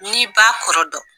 N'i b'a kɔrɔ dɔn